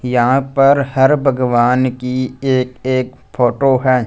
यहां पर हर भगवान की ये एक फोटो है।